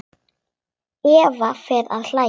Eva fer að hlæja.